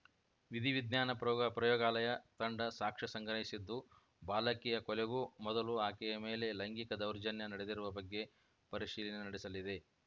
ವಿಧಿವಿಜ್ಞಾನ ಪ್ರಯೋ ಪ್ರಯೋಗಾಲಯ ತಂಡ ಸಾಕ್ಷ್ಯ ಸಂಗ್ರಹಿಸಿದ್ದು ಬಾಲಕಿಯ ಕೊಲೆಗೂ ಮೊದಲು ಆಕೆಯ ಮೇಲೆ ಲೈಂಗಿಕ ದೌರ್ಜನ್ಯ ನಡೆದಿರುವ ಬಗ್ಗೆ ಪರಿಶೀಲನೆ ನಡೆಸಲಿದೆ